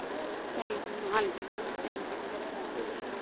family ਨੂੰ ਹਾਂਜੀ mam family ਨੂੰ help ਹੋ ਜਾਂਦੀ ਏ